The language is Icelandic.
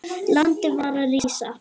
Landið var að rísa.